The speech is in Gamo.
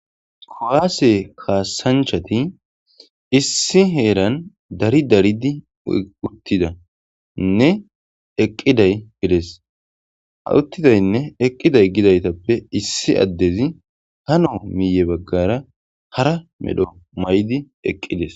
kowaase kaasanchati issi heeran dari daridi uttidainne eqqiday bides ha uttidaynne eqqiday gidaytappe issi addezi hano miye baggara hara medho may7di eqqides